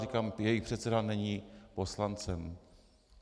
Říkám, jejich předseda není poslancem.